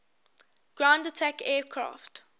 ground attack aircraft